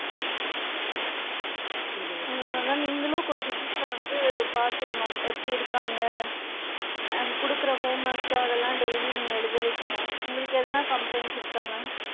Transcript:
அதனால தான் நீங்களும் கொஞ்சம் வீட்ல வந்து பாத்துக்கணும் எப்படி இருக்காங்க and குடுக்குற home works ச அதலாம் நீங்க daily எழுத வைக்கணும் உங்களுக்கு எதுனா complains இருக்கா ma'am.